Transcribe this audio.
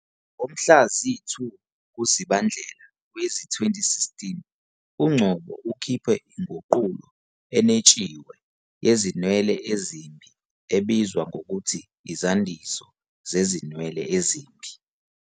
Ngomhla zi-2 kuZibandlela wezi-2016, uNgcobo ukhiphe inguqulo enwetshiwe "Yezinwele" "Ezimbi ebizwa ngokuthi Izandiso Zezinwele Ezimbi".